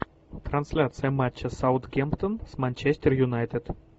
трансляция матча саутгемптон с манчестер юнайтед